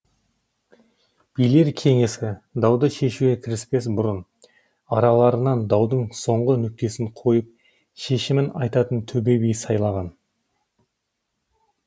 билер кеңесі дауды шешуге кіріспес бұрын араларынан даудың соңғы нүктесін қойып шешімін айтатын төбе би сайлаған